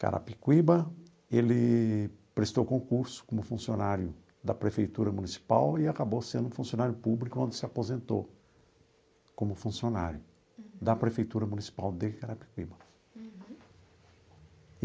Carapicuíba, ele prestou concurso como funcionário da Prefeitura Municipal e acabou sendo funcionário público, onde se aposentou como funcionário da Prefeitura Municipal de Carapicuíba.